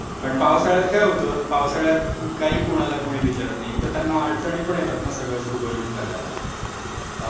पण पावसाळ्यात काय होतं पावसाळ्यात काही कोणाला कोणी विचारत नाही. एकतर त्यांना अडचणी पण येतात ना सगळं सुरळीत करायला पावसामुळे.